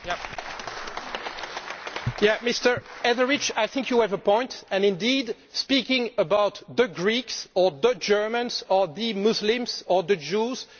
Mr Etheridge, I think you have a point and indeed speaking about the Greeks or the Germans or the Muslims or the Jews is probably not the right way to speak.